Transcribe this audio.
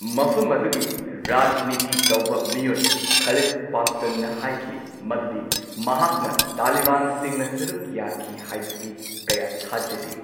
ꯃꯐꯝ ꯑꯗꯨꯒꯤ ꯔꯥꯖꯅꯤꯇꯤ ꯇꯧꯕ ꯃꯤꯑꯣꯏ ꯈꯥꯂꯤꯗ ꯄꯥꯁꯇꯟꯅ ꯍꯥꯏꯈꯤ ꯃꯗꯨꯗꯤ ꯃꯍꯥꯛꯅ ꯇꯥꯂꯤꯕꯥꯟꯁꯤꯡꯅ ꯁꯔꯨꯛ ꯌꯥꯈꯤ ꯍꯥꯢꯕꯁꯤ ꯀꯌꯥ ꯊꯥꯖꯗꯦ꯫